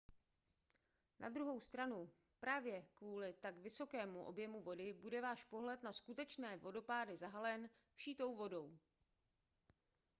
na druhou stranu právě kvůli tak vysokému objemu vody bude váš pohled na skutečné vodopády zahalen vší tou vodou